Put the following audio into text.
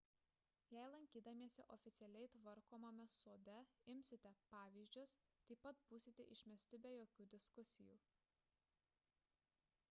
jei lankydamiesi oficialiai tvarkomame sode imsite pavyzdžius taip pat būsite išmesti be jokių diskusijų